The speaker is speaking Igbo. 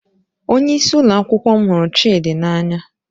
Onyeisi ụlọ akwụkwọ m hụrụ Chidi n'anya